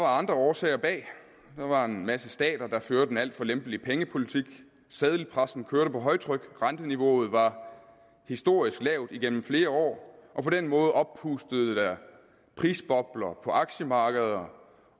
andre årsager bag der var en masse stater der førte en alt for lempelig pengepolitik seddelpressen kørte på højtryk renteniveauet var historisk lavt igennem flere år og på den måde oppustet prisbobler på aktiemarkeder